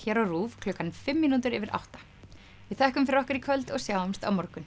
hér á RÚV klukkan fimm mínútur yfir átta við þökkum fyrir okkur í kvöld og sjáumst á morgun